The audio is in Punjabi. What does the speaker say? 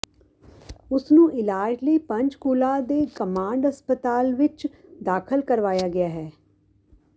ਉਸ ਨੂੰ ਇਲਾਜ ਲਈ ਪੰਚਕੂਲਾ ਦੇ ਕਮਾਂਡ ਹਸਪਤਾਲ ਵਿੱਚ ਦਾਖ਼ਲ ਕਰਵਾਇਆ ਗਿਆ ਹੈ